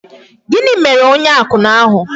Gịnị mere onye akwụna ahụ?